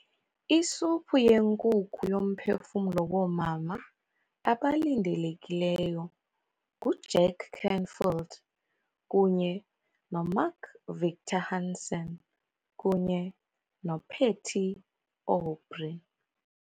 Isuphu yenkukhu yoMphefumlo woomama abalindelekileyo nguJack Canfield kunye noMark Victor Hansen kunye noPatty Aubery